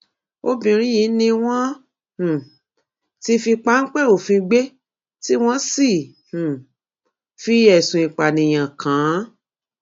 obìnrin yìí ni wọn um ti fi páńpẹ òfin gbé tí wọn sì um fi ẹsùn ìpànìyàn kàn án